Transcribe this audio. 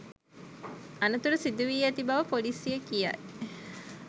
අනතුර සිදුවී ඇති බව ‍පොලිසිය කියයි.